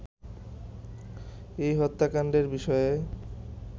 এই হত্যাকাণ্ডের বিষয়ে